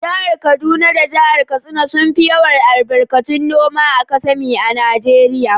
Jihar kaduna da Jihar katsina sun fi yawar albarkatu noma a kasami a najeria.